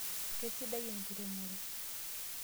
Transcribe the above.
Kesidai enkiremore.